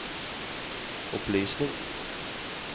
opplysning